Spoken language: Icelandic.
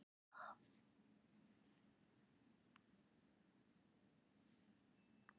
Þorbjörn Þórðarson: Það er bara þegar eignirnar raungerast með sölu og slíkt?